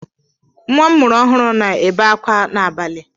Nwa a mụrụ ọhụrụ na-ebe ákwá n'abalị.